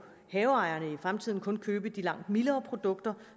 haveejerne i fremtiden kun købe de langt mildere produkter